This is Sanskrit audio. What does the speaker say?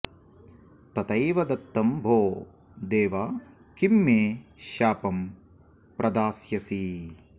तथैव दत्तं भो देव किं मे शापं प्रदास्यसि